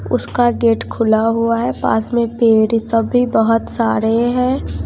उसका गेट खुला हुआ है पास में पेड़ है सब भी बहोत सारे हैं।